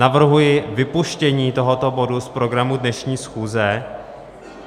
Navrhuji vypuštění tohoto bodu z programu dnešní schůze.